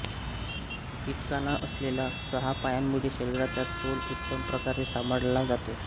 कीटकाना असलेल्या सहा पायांमुळे शरीराचा तोल उत्तमप्रकारे सांभाळला जातो